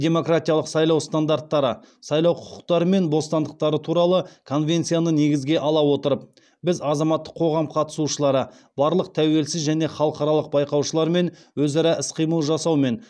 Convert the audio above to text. демократиялық сайлау стандарттары сайлау құқықтары мен бостандықтары туралы конвенцияны негізге ала отырып біз азаматтық қоғам қатысушылары барлық тәуелсіз және халықаралық байқаушылармен өзара іс қимыл жасау мен